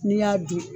N'i y'a dun